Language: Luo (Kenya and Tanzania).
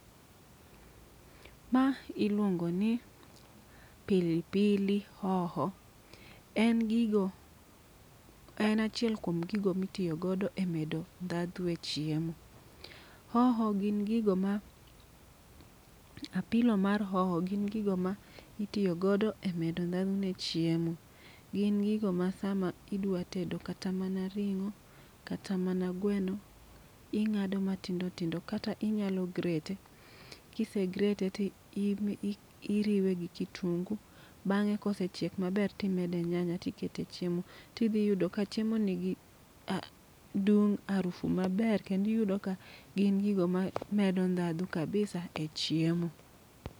Ma iluongo ni pili pili hoho , en gigo en achiel kuom gigo mitiyo go e medo ndhadhu e chiemo. Hoho gin gigo ma apilo mar hoho gin gigo ma itiyo godo e medo ndhadhu ne chiemo. Gin gigo ma sama idwa tedo kata mana ring'o, kata mana gweno, ing'do matindo tindo. Kata inyalo grete, kise grete ti i iriwe gi kitungu. Bang'e kosechiek maber timede nyanya tikete chiemo, tidhi yudo ka chiemo nigi ah dung' arufu maber. Kendi yudo ni gin gigo ma medo ndhadhu kabisa e chiemo.